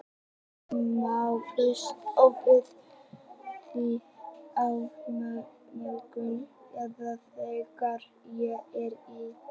Má búast við því þá í morgunsárið eða þegar fer að líða á daginn?